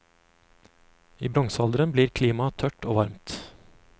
I bronsealderen blir klimaet tørt og varmt.